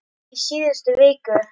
Í síðustu viku.